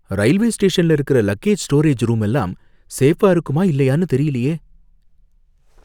Railway ஸ்டேஷன்ல இருக்கிற luggage storage room எல்லாம் சேஃபா இருக்குமா இல்லையானு தெரியலயே!